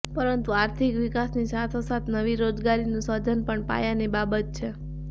પરંતુ આર્થિક વિકાસની સાથોસાથ નવી રોજગારીનું સર્જન પણ પાયાની બાબત છે